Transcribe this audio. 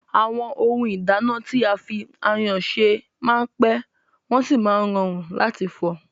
Àwọn ohun ìdáná tí a fi ayọ́ se máa n pẹ́, wọ́n sì máa n rọrùn láti fọ̀.